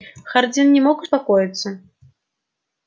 хардин не мог успокоиться